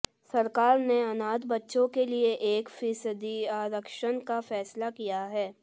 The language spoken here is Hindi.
सरकार ने अनाथ बच्चो के लिए एक फिसदी आरक्षण का फैसला किया है